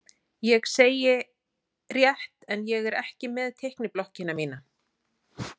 Ég segi: Rétt en ég er ekki með teikniblokkina mína.